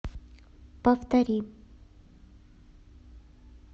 повтори